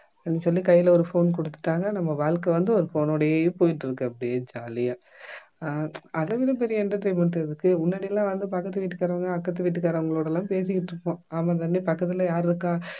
அப்படின்னு சொல்லி கையில ஒரு phone குடுத்துட்டாங்க நம்ம வாழ்க்கை வந்து ஒரு phone னோடவே போயிட்டிருக்கு அப்படியே jolly ஆ அஹ் அதைவிட பெரிய entertainment எதுக்கு முன்னாடி எல்லாம் வந்து பக்கத்து வீட்டுக்காரவங்க அக்கத்து வீட்டுக்காரவங்களோட எல்லாம் பேசிகிட்டிருப்போம் ஆமாம் தானே பக்கத்துல யாரு இருக்கா?